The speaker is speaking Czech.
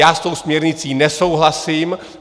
Já s tou směrnicí nesouhlasím.